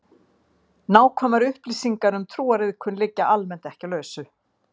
Á löngum ferðalögum getur orðið blóðtappamyndun í bláæðum.